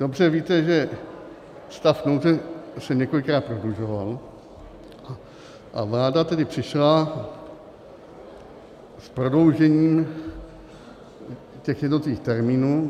Dobře víte, že stav nouze se několikrát prodlužoval, a vláda tedy přišla s prodloužením těch jednotlivých termínů.